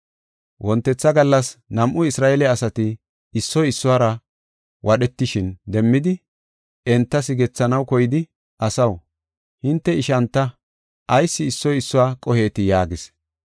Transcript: “Wontetha gallas nam7u Isra7eele asati issoy issuwara wadhetishin demmidi enta sigethanaw koyidi, ‘Asaw, hinte ishanta; ayis issoy issuwa qohetii?’ yaagis.